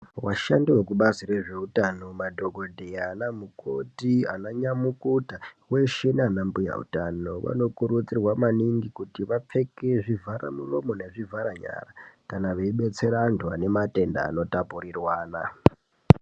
Vashandi vekubazi rezveutano madhokodheya, anamukoti, ananyamukuta , veshe naanambuya utano, vanokurudzirwa maningi kuti vapfeke zvivharamiromo nezvivharanyara kana veibetsera anthu ane matenda anotapurirwana.